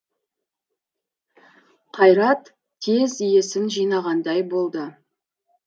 қайрат тез есін жинағандай болды